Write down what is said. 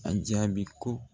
A jaabi ko